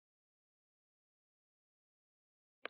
Nýár er runnið!